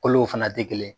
Kolo fana tɛ kelen ye